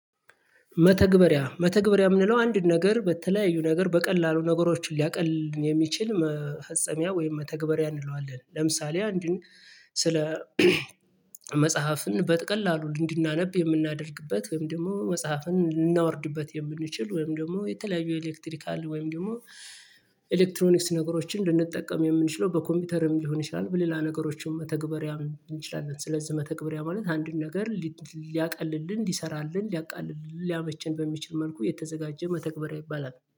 መተግበሪያ መተግበሪያ የምንለው አንድ ነገር በተለያዩ ነገር በቀላሉ ነገሮችን ሊያቅል የሚችል መፈጸሚያ ወይም መተግበሪያ እንለዋለን። ለምሳሌ አንድን ስለ መጽሐፍን በተቀላሉ እንድናነብ የምናደርግበት ወይም ደግሞ መጽሐፍን ልናወርድበት የምንችል ወይም ደግሞ የተለያዩ የኤሌክትሪካል ወይም ደግሞ ኤሌክትሮኒክስ ነገሮችን ልንጠቀም የምንችለው በኮምፒውተርም ሊሆን ይችላል። በሌላ ነገሮችን መተግበሪያ እንችላለን። ስለዚህ መተግበሪያ ማለት አንድን ነገር ሊያቃልልን ሊሰራልን ሊያቃልልን ሊያመቸን በሚችል መልኩ የተዘጋጀ መተግበሪያ ይባላል